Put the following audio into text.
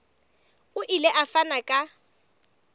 o ile a fana ka